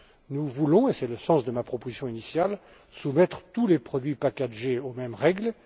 Nous voulons et c'est le sens de ma proposition initiale soumettre tous les produits packagés aux mêmes règles.